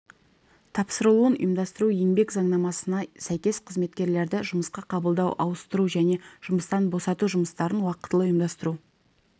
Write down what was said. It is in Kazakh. тапсырылуын ұйымдастыру еңбек заңнамасына сәйкес қызметкерлерді жұмысқа қабылдау ауыстыру және жұмыстан босату жұмыстарын уақытылы ұйымдастыру